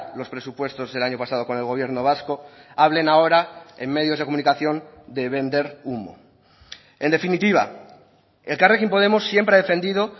los presupuestos del año pasado con el gobierno vasco hablen ahora en medios de comunicación de vender humo en definitiva elkarrekin podemos siempre ha defendido